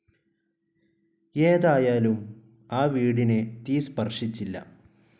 ഏതായാലും ആ വീടിനെ തീ സ്പർശിച്ചില്ല.